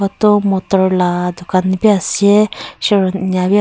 vuto motor la dukan bi ase eneka bi ase.